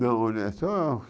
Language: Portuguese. Não, olha, é só